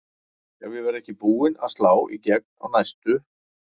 Ef ég verð ekki búin að slá í gegn á næstu